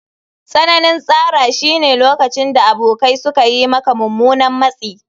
Tsananin tsara shine lokacin da abokai suka yi maka mummunan matsi.